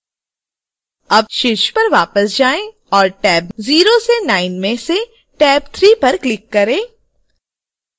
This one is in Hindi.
अब शीर्ष पर वापस जाएं और टैब 0 से 9 में से टैब 3 पर क्लिक करें